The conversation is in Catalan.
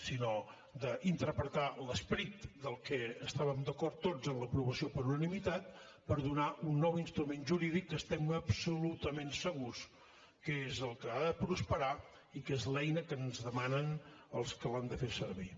sinó d’interpretar l’esperit del que estàvem d’acord tots en l’aprovació per unanimitat per donar un nou instrument jurídic que estem absolutament segurs que és el que ha de prosperar i que és l’eina que ens demanen els que l’han de fer servir